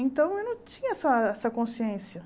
Então, eu não tinha essa essa consciência.